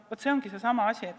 Vaat see on seesama asi.